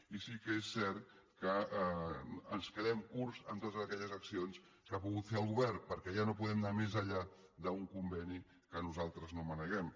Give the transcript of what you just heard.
i sí que és cert que ens quedem curts en totes aquelles accions que ha pogut fer el govern perquè ja no podem anar més enllà d’un conveni que nosaltres no maneguem